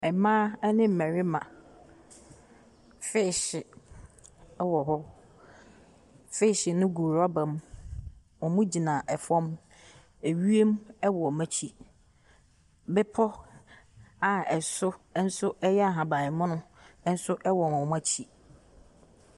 Mmaa ne mmarima, feehye wɔ hɔ. Feehye no gu rɔba mu. Wɔgyina fam. Ewiem wɔ wɔn akyi. Bepɔ a ɛso nso yɛ ahaban mono nso wɔ wɔn akyi.